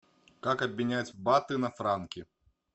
как обменять баты на франки